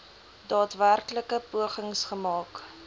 daadwerklike pogings gemaak